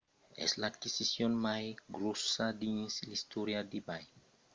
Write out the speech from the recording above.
es l’aquisicion mai gròssa dins l’istòria d’ebay